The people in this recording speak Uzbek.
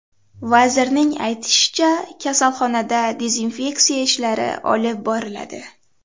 Vazirning aytishicha, kasalxonada dezinfeksiya ishlari olib boriladi.